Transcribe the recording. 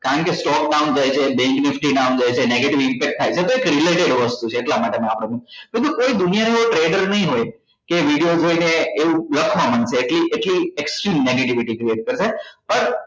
કારણ કે stock down જાય છે bank nifty down જાય છે negative effect થાય છે તો એક related વસ્તુ છે એટલા માટે આપડે આમ દોસ્તો કોઈ દુનિયા નો એવો treader નહિ હોય કે video જોઈને ને એવું લખવા માંડશે એટલી એટલી actual negativity કરશે પર